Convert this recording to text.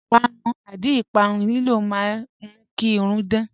Ìpàrún/àdí ìpàrún lílò mà n mú kí irùn dán